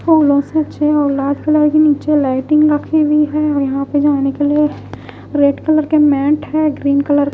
फूलों से अच्छी लाल कलर की नीचे लाइटिंग रखी हुई है और यहां पर जाने के लिए रेड कलर के मैट है ग्रीन कलर --